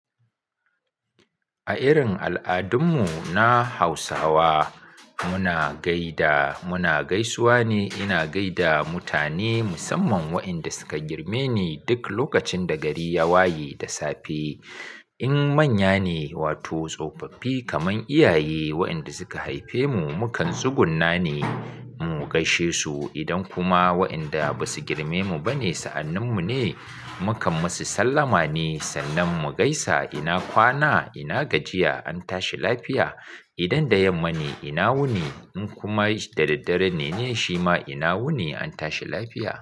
A irin al'adun mu na Hausawa, muna gaida, muna gaisuwa ne. Ina gaida mutane musamman wa'inda suka girme ni duk lokacin da gari ya waye da safe. In manya ne wato tsofaffi kamar iyaye wa'inda suka haife mu, mukan tsugunna ne mu gaishe su. Idan kuma wa'inda basu girme mu ba ne, sa'annin mu ne mukan masu sallama ne sannan mu gaisa. Ina kwana, ina gajiya? An tashi lafiya. Idan da yamma ne, ina wuni? In kuma da daddare ne ne shima ina wuni? An tashi lafiya.